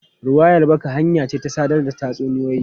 Ruwayar baka hanya ce ta sadar da tatsuniyoyi.